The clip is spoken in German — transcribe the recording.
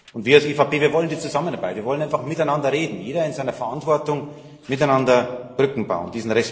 Und wir als EVP wollen die Zusammenarbeit, wir wollen einfach miteinander reden jeder in seiner Verantwortung miteinander Brücken bauen.